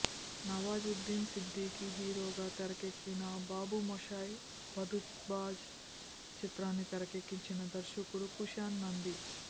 నవాజుద్దీన్ సిద్ధికీ హీరోగా తెరకెక్కిన బాబుమోషాయ్ బందూక్బాజ్ చిత్రాన్ని తెరకెక్కించిన దర్శకుడు కుషాన్ నందీ